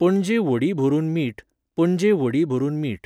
पणजे व्हडीं भरून मीठ, पणजे व्हडीं भरून मीठ.